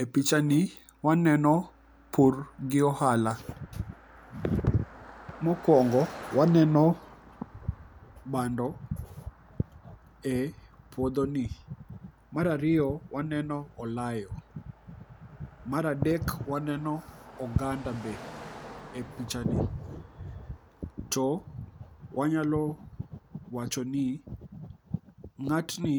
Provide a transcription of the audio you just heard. E pichani waneno pur gi ohala. Mokwongo waneno bando e puodhoni, mar ariyo waneno olayo, mar adek waneno oganda be e pichani to wanyalo wachoni ng'atni